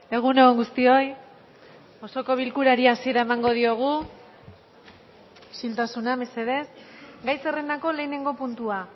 egun on guztioi osoko bilkurari hasiera emango diogu isiltasuna mesedez gai zerrendako lehenengo puntua